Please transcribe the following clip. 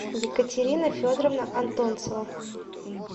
екатерина федоровна антонцева